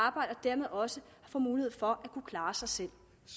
arbejde og dermed også få mulighed for at kunne klare sig selv